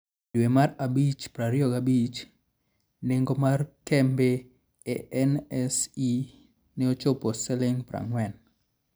E dwe mar abich 25, nengo mar kembe e NSE ne ochopo Sh40.